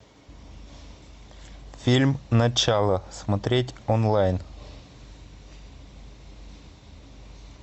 фильм начало смотреть онлайн